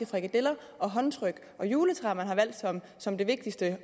frikadeller og håndtryk og juletræer man har valgt som det vigtigste at